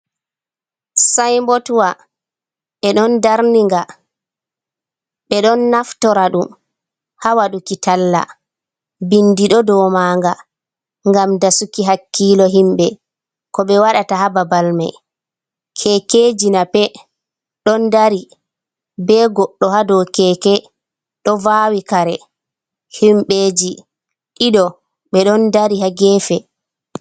"Sayinbotwa ɓeɗon darninga ɓe don naftora ɗum ha waɗuki talla bindi ɗo ɗou manga ngam dasuki hakkilo himɓe ko ɓe waɗata ha babal mai kekeji nape ɗon dari ɓe goɗɗo ha do keke ɗo vawi kare himbeji ɗiɗo ɓeɗon dari ha gefe.